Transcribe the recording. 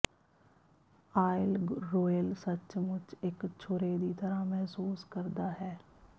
oil royal ਸੱਚਮੁੱਚ ਇਕ ਛੁਰੇ ਦੀ ਤਰ੍ਹਾਂ ਮਹਿਸੂਸ ਕਰਦਾ ਹੈ